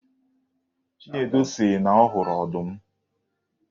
Chinedu sị na ọ hụrụ ọdụm